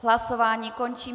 Hlasování končím.